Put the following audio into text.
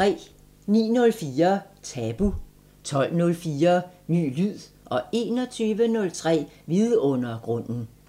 09:04: Tabu 12:04: Ny lyd 21:03: Vidundergrunden